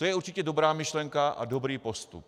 To je určitě dobrá myšlenka a dobrý postup.